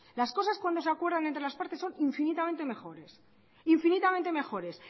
las cosas cuando se acuerdan entre las partes son infinitamente mejores